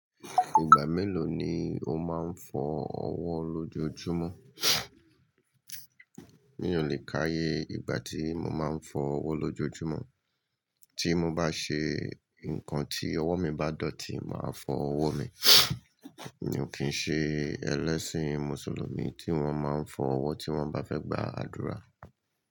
Ìgbà mélòó ni o máa ń fọ ọwọ́ lójojúmọ́? Mi ò lè káyé ìgbà tí mo máa ń fọ ọwọ́ lójojúmọ́. Tí mo bá ṣe nǹkan tí ọwọ́ mi bá dọ̀tí, màá fọ ọwọ́ mi. Mi ò kí ń ṣe ẹlẹ́sìn Mùsùlùmí tí wọ́n máa ń fọ ọwọ́ tí wọ́n bá fẹ́ gbà ádùrá.